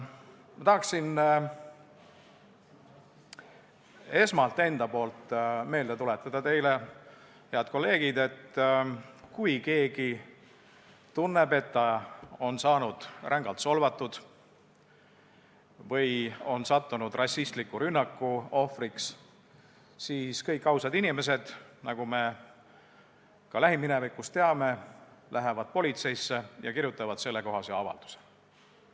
Ma tahaksin esmalt enda nimel meelde tuletada teile, head kolleegid, et kui keegi tunneb, et ta on saanud rängalt solvata või on sattunud rassistliku rünnaku ohvriks, siis võiks meeles pidada, et kõik ausad inimesed, nagu me ka lähiminevikust teame, lähevad politseisse ja kirjutavad selle kohta avalduse.